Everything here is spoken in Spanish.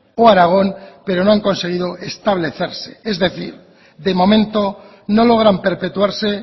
o aragón pero no han conseguido establecerse es decir de momento no logran perpetuarse